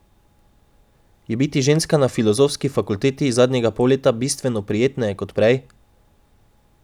Je biti ženska na filozofski fakulteti zadnjega pol leta bistveno prijetneje kot prej?